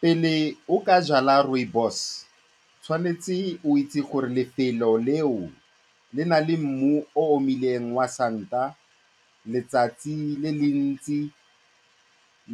Pele o ka jwala rooibos, o tshwanetse o itse gore lefelo leo le na le mmu o omileng wa santa, letsatsi le le ntsi